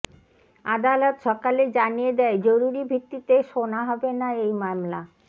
আদালত সকালেই জানিয়ে দেয় জরুরি ভিত্তিতে সোনা হবে না এই মামলা